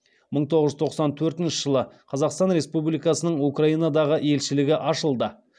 мың тоғыз жүз тоқсан төртінші жылы қазақстан республикасының украинадағы елшілігі ашылды